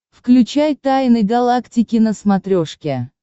включай тайны галактики на смотрешке